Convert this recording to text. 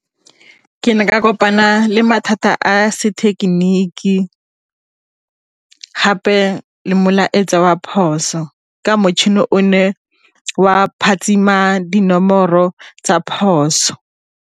Ke ne ka kopana le mathata a sethekeniki gape le molaetsa wa phoso ka motšhini o ne wa phatsima dinomoro tsa phoso.